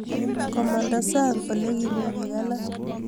komanda sang ole kimi pik alak